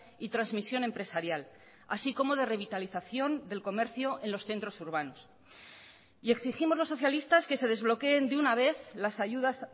y transmisión empresarial así como de revitalización del comercio en los centros urbanos y exigimos los socialistas que se desbloqueen de una vez las ayudas